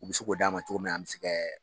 U bɛ se k'o d'a ma cogo min na an bɛ se kɛ